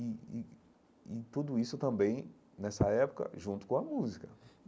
E e e tudo isso também, nessa época, junto com a música.